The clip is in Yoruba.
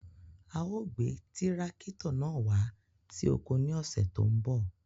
À o gbè tirakítò náà wà sí oko ní ọṣẹ́ tó n bọ̀.